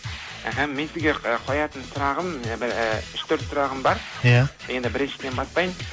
іхі мен сізге ы қоятын сұрағым ііі үш төрт сұрағым бар иә енді біріншіден бастайын